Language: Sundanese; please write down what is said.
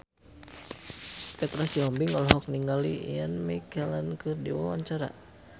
Petra Sihombing olohok ningali Ian McKellen keur diwawancara